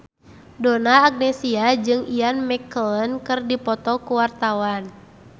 Donna Agnesia jeung Ian McKellen keur dipoto ku wartawan